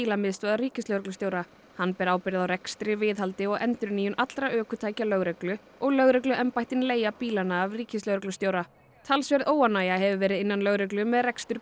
bílamiðstöðvar ríkislögreglustjóra hann ber ábyrgð á rekstri viðhaldi og endurnýjun allra ökutækja lögreglu og lögregluembættin leigja bílana af ríkislögreglustjóra talsverð óánægja hefur verið innan lögreglu með rekstur